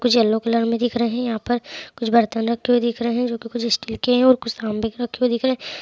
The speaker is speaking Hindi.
कुछ येल्लो कलर में दिख रहे हैं यहाँ पर कुछ बर्तन रखे हुए दिख रहे हैं जो की कुछ स्टील के हैं और कुछ ताम्बे के हुए दिख रहे हैं।